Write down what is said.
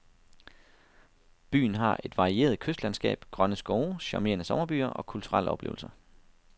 Byen har et varieret kystlandskab, grønne skove, charmerende sommerbyer og kulturelle oplevelser.